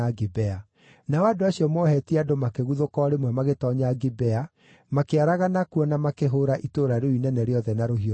Nao andũ acio moohetie andũ makĩguthũka o rĩmwe magĩtoonya Gibea, makĩaragana kuo na makĩhũũra itũũra rĩu inene rĩothe na rũhiũ rwa njora.